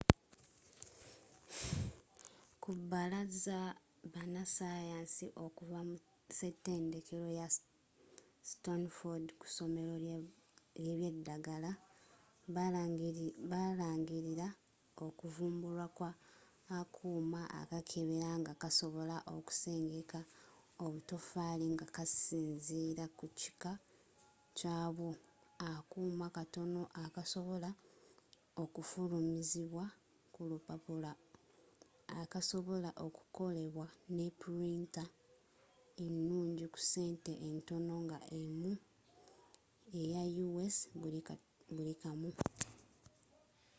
ku balaza banasayansi okuva mu setendekero ya stanford ku somero ly'ebyedagala balangirira okuvumbulwa kwa akuuma akakebera nga kasobola okusengeka obutafaali nga kasinzira kukika kyabwo akuuma katono akasobola okufulumizibwa ku lupapula akasobola okukolebwa ne printa enungi ku sente entono nga emu eya us buli kamu